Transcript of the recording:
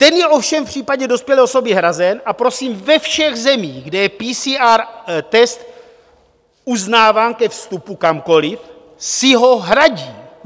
Ten je ovšem v případě dospělé osoby hrazen, a prosím, ve všech zemích, kde je PCR test uznáván ke vstupu kamkoliv, si ho hradí.